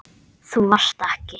Þú varst ekki.